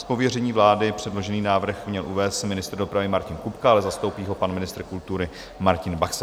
Z pověření vlády předložený návrh měl uvést ministr dopravy Martin Kupka, ale zastoupí ho pan ministr kultury Martin Baxa.